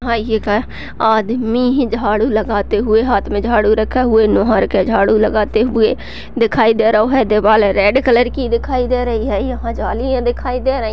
और ये क्या आदमी ही झाड़ू लगाते हुए हाथ में झाड़ू रखा हुए नूहरा के झाड़ू लगते हुए दिखाई दे रहौ है। दीवाले रेड कलर की दिखाई देर रही हैं। यहाँ जलियाँ दिखाई दे रही --